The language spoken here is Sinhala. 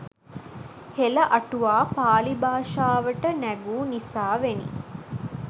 හෙළ අටුවා පාළි භාෂාවට නැගූ නිසාවෙනි